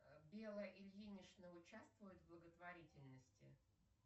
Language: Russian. белла ильинична участвует в благотворительности